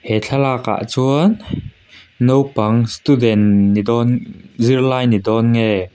he thlalakah chuan naupang student ni dawn zirlai ni dawng nge --